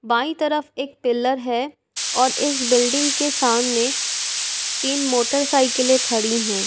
By तरफ एक pillar है और इस बिल्डिंग के सामने तीन मोटरसाइकिले खड़ी हैं।